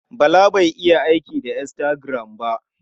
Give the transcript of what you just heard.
Bala bai iya aiki da Instagram ba.